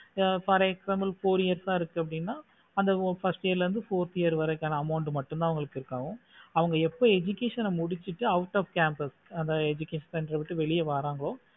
for example four years ஆஹ் இருக்குன்னு அப்படினா அந்த first year லந்து fourth year வரைக்கும் அந்த amount மட்டும் தா உங்களு இருக்கும் அவங்க எப்போ education ஆஹ் முடிச்சிட்டு out of campus அந்த education ஆஹ் விட்டு வெளிய வாரங்களோ